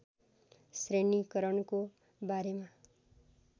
श्रेणीकरणको बारेमा